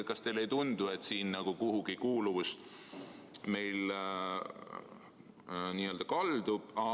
Kas teile ei tundu, et meie kuuluvus kuhugi n-ö kaldub?